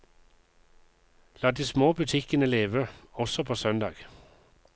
La de små butikkene leve, også på søndag.